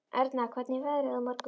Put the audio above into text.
Erna, hvernig verður veðrið á morgun?